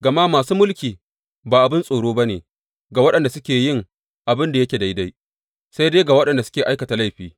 Gama masu mulki ba abin tsoro ba ne ga waɗanda suke yin abin da yake daidai, sai dai ga waɗanda suke aikata laifi.